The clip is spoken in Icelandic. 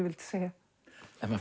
vildi segja maður